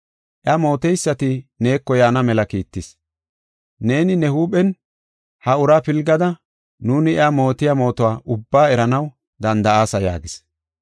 Iya mooteysati neeko yaana mela kiittis. Neeni ne huuphen ha uraa pilgada nuuni iya mootiya mootuwa ubbaa eranaw danda7aasa” yaagis.